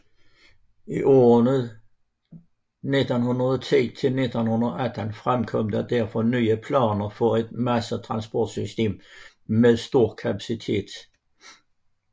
I årene 1910 til 1918 fremkom der derfor nye planer for et massetransportsystem med stor kapacitet